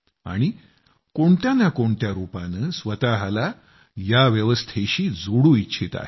आणि कोणत्या ना कोणत्या रूपानं स्वतःला या व्यवस्थेशी जोडू इच्छित आहेत